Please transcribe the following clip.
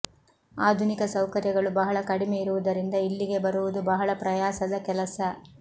ಆಧುನಿಕ ಸೌಕರ್ಯಗಳು ಬಹಳ ಕಡಿಮೆ ಇರುವುದರಿಂದ ಇಲ್ಲಿಗೆ ಬರುವುದು ಬಹಳ ಪ್ರಯಾಸದ ಕೆಲಸ